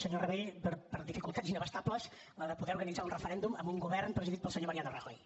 senyor rabell per dificultats inabastables la de poder organitzar un referèndum amb un govern presidit pel senyor mariano rajoy